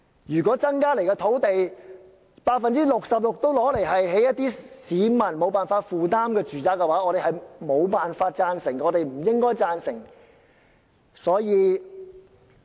如果增加的土地中有 66% 會用作興建市民無法負擔的住宅，我們無法贊成，亦不應贊成。